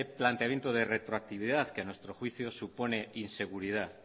planteamiento de retroactividad que a nuestro juicio supone inseguridad